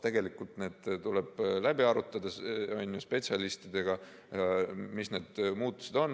Tegelikult tuleb läbi arutada spetsialistidega, mis need muudatused on.